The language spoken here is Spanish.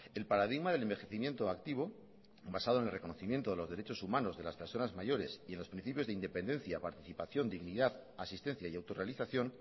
el paradigma del envejecimiento activo basado en el reconocimiento de los derechos humanos de las personas mayores y en los principios de independencia participación dignidad asistencia y autorrealización